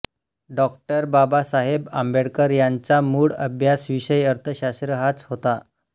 डॉ बाबासाहेब आंबेडकर यांचा मूळ अभ्यासविषय अर्थशास्त्र हाच होता